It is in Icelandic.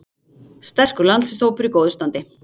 Sterkur landsliðshópur í góðu standi